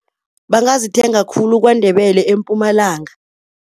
Bangazithenga khulu KwaNdebele, eMpumalanga.